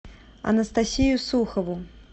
анастасию сухову